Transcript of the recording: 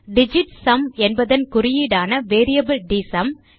digit sum என்பதன் குறியீடான variable DSUM